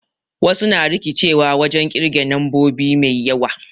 Wasu na rikicewa wajen ƙirge nombobi mai yawa